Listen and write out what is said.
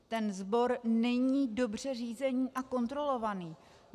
Ten sbor není dobře řízený a kontrolovaný.